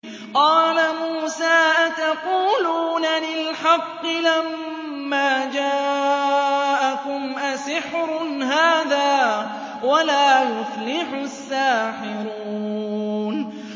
قَالَ مُوسَىٰ أَتَقُولُونَ لِلْحَقِّ لَمَّا جَاءَكُمْ ۖ أَسِحْرٌ هَٰذَا وَلَا يُفْلِحُ السَّاحِرُونَ